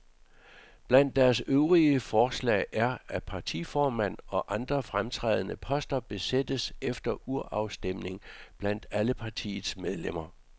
Blandt deres øvrige forslag er, at partiformand og andre fremtrædende poster besættes efter urafstemning blandt alle partiets medlemmer.